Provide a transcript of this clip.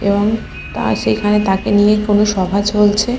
এবং তার সেখানে তাকে নিয়ে কোনো সভা চলছে।